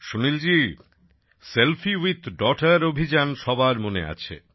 Sunilji selfie with daughter অভিযান সবার মনে আছে